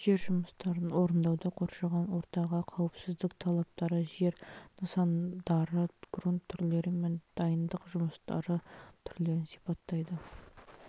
жер жұмыстарын орындауда қоршаған ортаға қауіпсіздік талаптары жер нысандары грунт түрлері мен дайындық жұмыстары түрлерін сипаттайды